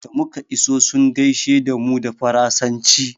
Da muka iso sun gaishe da mu da faransanci.